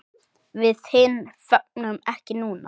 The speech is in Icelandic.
Við hin fögnum ekki núna.